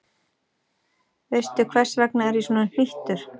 Veistu, hvers vegna ég er svona hnýttur?